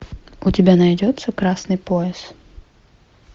у тебя найдется красный пояс